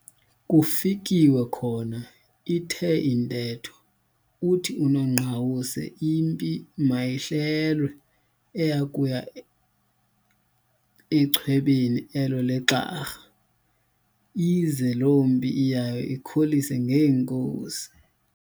Kufikiwe khona ithe intetho, uthi unongqawuse impi mayihlelwe eya kuya nchwebeni elo leGxarha, ize loo mpi iyayo ikholise ngeenkosi.